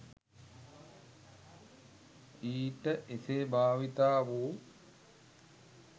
ඊට එසේ භාවිතා වූ